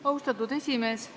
Austatud esimees!